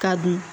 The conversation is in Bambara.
Ka dun